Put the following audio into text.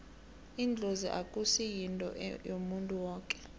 idlozi akusi yinto yomuntu woke